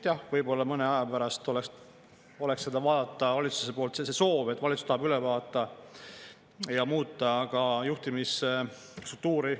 Jah, võib-olla mõne aja pärast oleks võinud arutada, et valitsusel on see soov, et valitsus tahab üle vaadata ja ka muuta juhtimisstruktuuri.